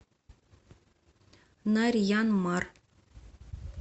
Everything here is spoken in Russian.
нарьян мар